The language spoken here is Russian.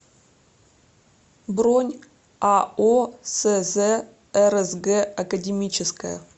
бронь ао сз рсг академическое